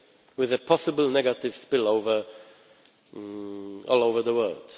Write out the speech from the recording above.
UK, with a possible negative spillover all over the world.